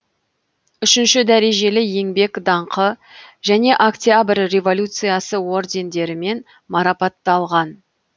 үшінші дәрежелі еңбек даңқы және октябрь революциясы ордендерімен марапатталған